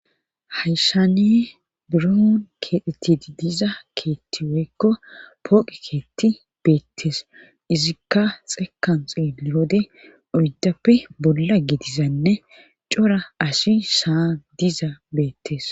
Hayshani buruon keexetidi diza keetti weykko pooqe keetti beettes izikka xeekanxiiwode oyddappe bolla gedizanne cora asi saa diza beettes.